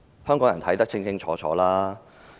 香港人現在看得很清楚。